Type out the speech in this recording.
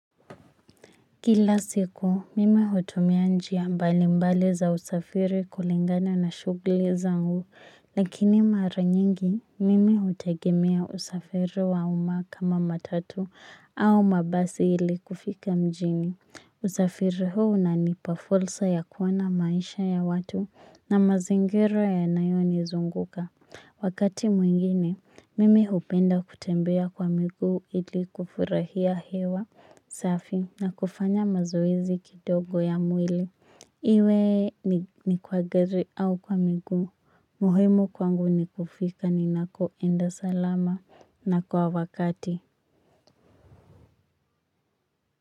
Kila siku mimi hutumia njia mbalimbali za usafiri kulingana na shughuli zangu lakini mara nyingi mimi hutegemea usafiri wa umma kama matatu au mabasi ili kufika mjini usafiri huu unanipa fursa ya kuona maisha ya watu na mazingira yanayonizunguka. Wakati mwingine, mimi hupenda kutembea kwa mguu ili kufurahia hewa safi na kufanya mazoezi kidogo ya mwili. Iwe ni kwa gari au kwa mguu muhimu kwangu ni kufika ninakoenda salama na kwa wakati.